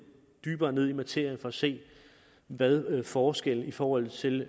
dybere ned i materien for at se hvad forskellen i forhold til